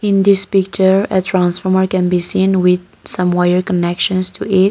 in this picture a transformer can be seen with some wire connection to it.